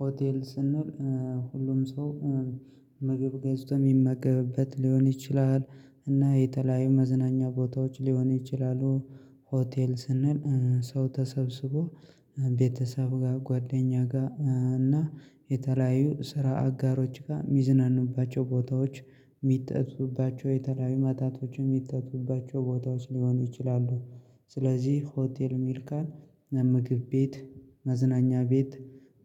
ሆቴል ስንል ሁሉም ሰው ምግብ ገዝቶ የሚመገብበት ሊሆን ይችላል። እና የተለያየ መዝናኛ ቦታዎች ሊሆን ይችላሉ። ሆቴል ስንል ሰው ተሰብስቦ ቤተሰብ ጋር ጓደኛ ጋር እና የተለያዩ ስራ አጋሮች ጋር ሚዝናኑባቸው ቦታዎች የሚጠጡባቸው የተለያዩ መጠጦችን የሚጠጡባቸው ቦታዎች ሊሆኑ ይችላሉ። ስለዚህ ሆቴል ሜርካን ምግብ ቤት መዝናኛ ቤት